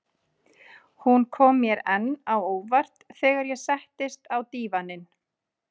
Hún kom mér enn á óvart þegar ég settist á dívaninn.